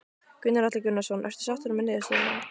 Gunnar Atli Gunnarsson: Ertu sáttur með niðurstöðuna?